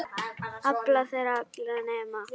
Afla þeirra allra nema